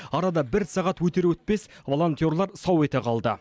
арада бір сағат өтер өтпес волонтерлар сау ете қалды